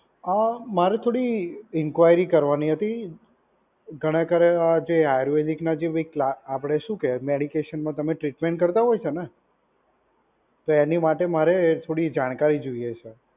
આ મારે થોડી ઇન્ક્વાયરી કરવાની હતી. ખરેખર આ જે આયુર્વેદિક ના જે બી કલા આપડે શું કહેવાય મેડિકેશનમાં તમે ટ્રીટમેન્ટ કરતાં હોય છે ને, તો એની માટે મારે એ થોડી જાણકારી જોઈએ છે.